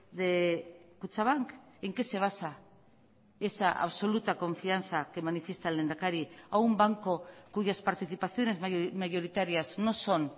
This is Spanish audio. de kutxabank en qué se basa esa absoluta confianza que manifiesta el lehendakari a un banco cuyas participaciones mayoritarias no son